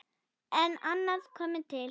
En annað kom til.